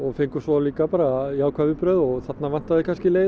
fengum svo líka bara jákvæð viðbrögð þarna vantar kannski leið